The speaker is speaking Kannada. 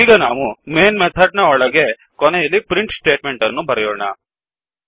ಈಗ ನಾವು ಮೇನ್ ಮೆಥಡ್ ನ ಒಳಗೆ ಕೊನೆಯಲ್ಲಿ ಪ್ರಿಂಟ್ ಸ್ಟೇಟ್ ಮೆಂಟ್ ಅನ್ನು ಬರೆಯೋಣ